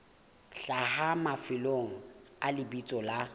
hlaha mafelong a lebitso la